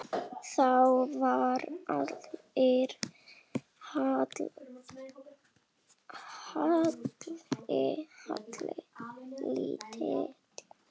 Þá var Halli Halli litli.